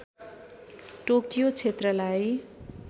Tokyo क्षेत्रलाई